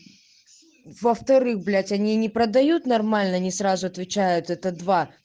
во вторых блять они не продают нормально они сразу отвечает это два